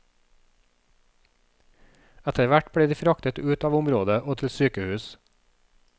Etterhvert ble de fraktet ut av området og til sykehus.